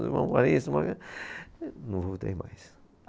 Não voltei mais.